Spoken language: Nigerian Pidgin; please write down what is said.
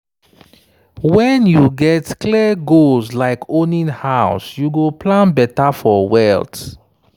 when you get clear goals like owning house you go plan better for wealth.